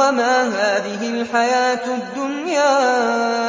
وَمَا هَٰذِهِ الْحَيَاةُ الدُّنْيَا